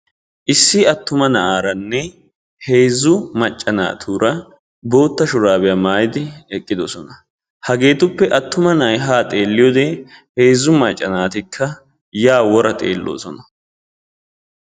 issi attuma naa"aarane heezu macca naatura bootta shurabiyaa maayidi eqidossona hagetuppekka issi attuma na"ay haa xeliyode heezzu macca naatikka yaa wora xeellossona.